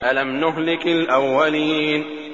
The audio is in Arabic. أَلَمْ نُهْلِكِ الْأَوَّلِينَ